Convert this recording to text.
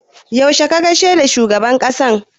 Yaushe ka gaishe da shugaban ƙasa?